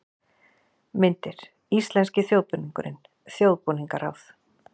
Myndir: Íslenski þjóðbúningurinn- Þjóðbúningaráð.